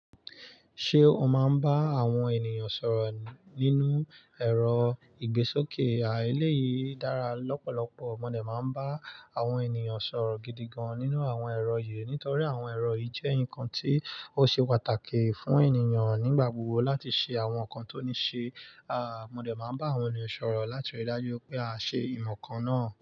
Ṣé o máa ń bá àwọn ènìyàn sọ̀rọ̀ nínú ẹ̀rọ ìgbésókè? A, eléyìí dára lọ́pọ̀lọpọ̀. Mo dẹ̀ máa ń bá àwọn ènìyàn sọ̀rọ̀ gidi gan nínú àwọn ẹ̀rọ yìí nítorí àwọn ẹ̀rọ yìí jẹ́ nǹkan tí ó ṣe pàtàkì fún ènìyàn nígbà gbogbo láti ṣe àwọn nǹkan tó ní ṣe. A, mo dẹ̀ máa ń bá àwọn ènìyàn sọ̀rọ̀ láti ríi dájú pé aa ṣe nǹkankan náà.